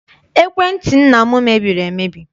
Ekwentị nna m mebiri emebi.